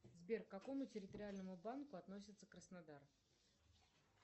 сбер к какому территориальному банку относится краснодар